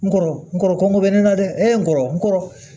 N kɔrɔ n kɔrɔ bɛ ne na dɛ e kɔrɔ n kɔrɔ